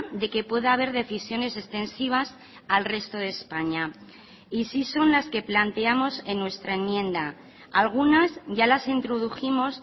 de que pueda a ver decisiones extensivas al resto de españa y sí son las que planteamos en nuestra enmienda algunas ya las introdujimos